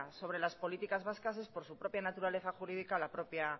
sobre las políticas vascas es por su propia naturaleza la propia